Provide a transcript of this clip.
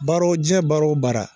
Baara wo jiyɛn baara wo bara